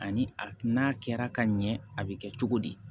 Ani a n'a kɛra ka ɲɛ a bɛ kɛ cogo di